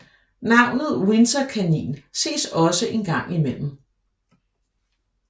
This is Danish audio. Navnet windsorkanin ses også engang imellem